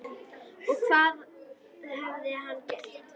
Og hvað hafði hann gert?